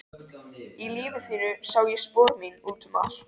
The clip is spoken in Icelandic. Í lífi þínu sá ég spor mín út um allt.